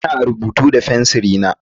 Ina rubutu da fensir na.